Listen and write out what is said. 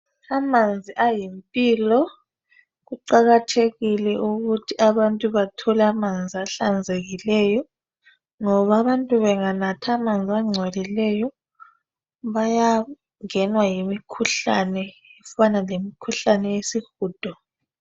Amanzi ayimpilo, kuqakathekile ukuthi abantu bethole amanzi ahlanzekileyo ngoba abantu benganatha amanzi angcolileyo bayangenwa yimikhuhlane efana lemikhuhlane yesihudo